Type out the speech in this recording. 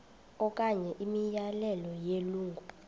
okanye imiyalelo yelungu